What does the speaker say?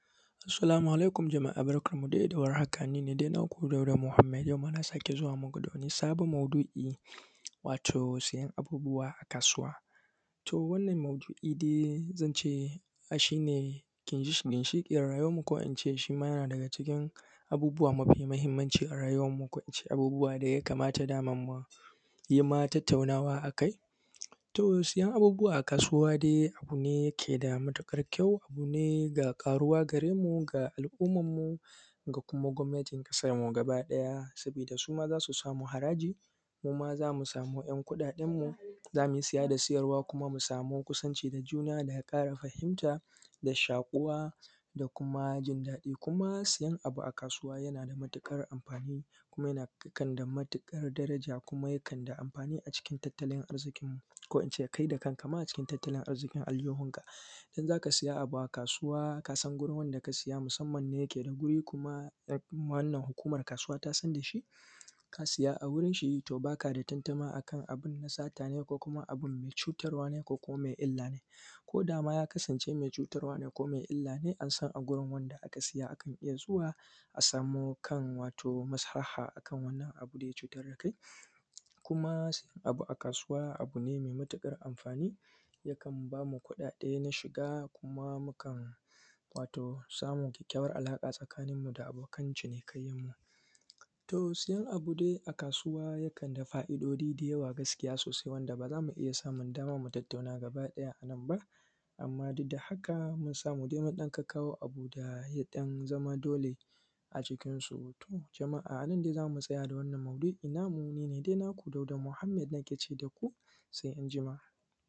Assalāmu alaikum jama’a barkanmu dai da war haka ni ne naku Dauda Muhammad yau ma na sake zuwa muku da wani sabon maudu’i, wato siyan abubuwa a kasuwa. To wannan maudu’i dai shi ne ginshiƙin rayuwarmu, ko in ce shi ma yana daga cikin abubuwa mafi muhimmanci a rayuwarmu ko in ce abubuwan da ya kamata dama mu yi ma tattaunawa a kai. To siyan abubuwa a kasuwa dai abu ne da ke da matuƙar kyau, abu ne ga ƙaruwa gare mu, ga al’ummarmu ga kuma gwamnatin ƙasarmu baki ɗaya, saboda su ma za su samu haraji, mu ma za mu samu ‘yan kuɗaɗenmu za mu yi siya da siyarwa kuma mu ƙara kusanci da juna da ƙara fahimta da shakuwa da kuma jin daɗi. Kuma siyan abu a kasuwa yana da matuƙar amfani kuma yana da matuƙar daraja, kuma yakan yi amfani a cikin tattalin arziƙinmu, ko in ce kai da kan ka a cikin tattalin arziƙin aljihunka. In za ka sayi abu a kasuwa ka san wurin wanda ka siya, musamman idan yana da guri, kuma wannan hukuma ta kasuwa ta san da shi, ka siya a gurin shi to ba ka da tantama abin na sata ne? Ko kuma abin mai cutarwa ne? Ko kuma mai illa ne, ko da ya kasance mai cutarwa ne ko mai illa ne an san a gurin wanda aka siya za a iya zuwa a samu kan maslaha kan wannan abin da ya cutar da kai. Kuma siyan abu a kasuwa abu ne mai matuƙar amfani yakan ba mu kuɗaɗen shiga kuma mukan samu kyakkyawar alaƙa a tsakanmu da abokan cinikayyar mu. To siyan abu dai a kasuwa yakan da fa’idodi da yawa a gaskiya sosai wanda ba za mu iya samun dama mu tattauna gaba ɗaya a nan ba, amma duk da haka mun samu mun kawo abu da ɗan zama dole. To jama’a anan dai za mu tsaya, ni ne dai naku Dauda Muhammad sai an jima.